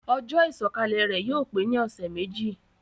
Ojó ìsòkalè rè yio pe ni òsé méjì